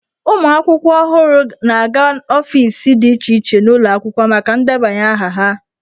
Ụmụ akwụkwọ ọhụrụ na-aga ọfiisi dị iche iche n'ụlọ akwụkwọ maka ndebanye aha ha.